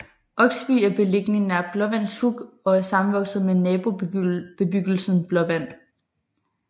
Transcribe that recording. Oksby er beliggende nær Blåvands Huk og er sammenvokset med nabobebyggelsen Blåvand